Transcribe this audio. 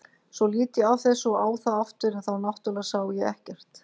Svo lít ég af þessu og á það aftur en þá náttúrlega sá ég ekkert.